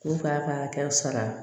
K'u k'a ka hakɛw sɔrɔ